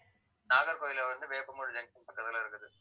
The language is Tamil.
நாகர்கோவில்ல வந்து வேப்பமூடு ஜங்ஷன் பக்கத்துல இருக்குது